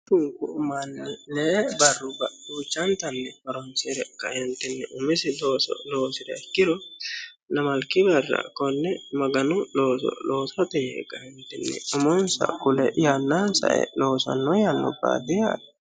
Duuchunku manni leenta barruwa horonsire umisi loosso loosiha ikkiro lamalki barra kone Maganu looso loossate yee kaentinni umonsa ee yannansa ee loossano barrubbati yaate.